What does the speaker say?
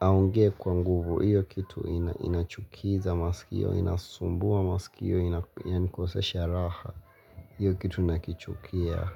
aongee kwa nguvu. Hiyo kitu inachukiza masikio, inasumbua masikio, inanikosesha raha hiyo kitu nakichukia.